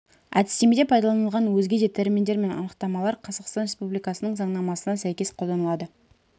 әдістемеде пайдаланылған өзге де терминдер мен анықтамалар қазақстан республикасының заңнамасына сәйкес қолданылады